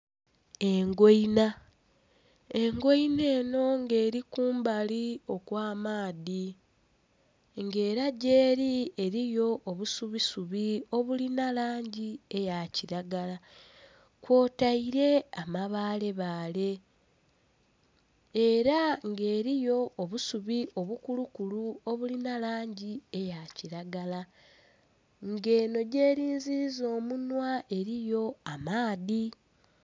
Engoina! Engoina eno nga eli kumbali okwamaadhi nga era gyeli eriyo obusubisubi obulina langi eya kiragala kwotaire amabale bale era nga eriyo obusubi obukulukulu obulina langi eya kiragala nga eno gyerinziza omunwa eriyo amaadhi